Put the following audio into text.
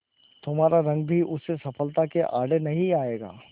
तुम्हारा रंग भी उस सफलता के आड़े नहीं आएगा